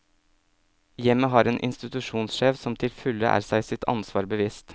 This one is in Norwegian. Hjemmet har en institusjonssjef som til fulle er seg sitt ansvar bevisst.